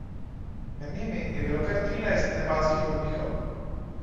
Med njimi je bilo kar trinajst nepalskih vodnikov.